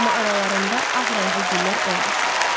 Amma aralarında ağ rəngli güllər olmasın.